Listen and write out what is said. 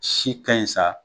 Si ka ɲi sa